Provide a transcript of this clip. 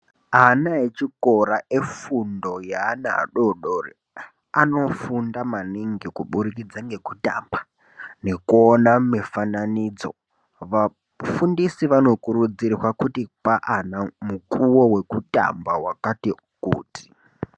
Ana echikora efundo yenana adodori anofunda maningi kubudikidza ngekutamba nekuona mifananidzo vafundisi vanokurudzirwa kupe ana mukuwo wekutamba wakati kuti.